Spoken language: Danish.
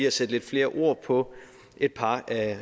at sætte lidt flere ord på et par af